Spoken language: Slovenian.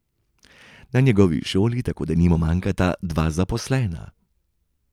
Na njegovi šoli tako denimo manjkata dva zaposlena.